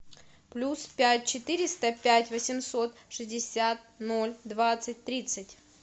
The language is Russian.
плюс пять четыреста пять восемьсот шестьдесят ноль двадцать тридцать